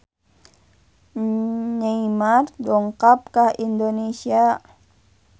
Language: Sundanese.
Neymar dongkap ka Indonesia